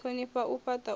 thonifha na u fhata u